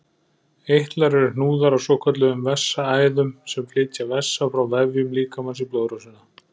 Eitlar eru hnúðar á svokölluðum vessaæðum sem flytja vessa frá vefjum líkamans í blóðrásina.